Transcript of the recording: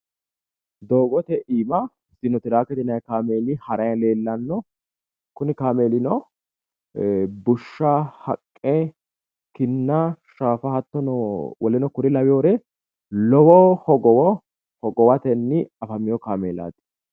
Doogote Aana Sino tirakete yinanni kaameeli haranni leellanno kuni kaameelino bushsha, kinnanna haqqe hogowatenni afamino kaameelaati.